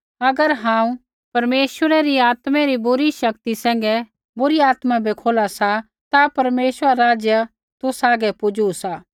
अगर हांऊँ परमेश्वरै री आत्मै री शक्ति सैंघै बुरी आत्मा बै खोला सा ता परमेश्वरा रा राज्य तुसा हागै पुजू सा